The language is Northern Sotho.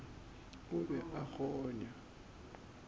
o be a a kgonya